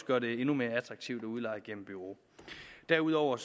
gør det endnu mere attraktivt at udleje gennem bureau derudover